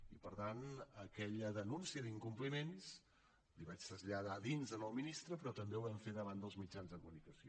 i per tant aquella denúncia d’incompliments la hi vaig traslladar a dins al ministre però també ho vam fer davant dels mitjans de comunicació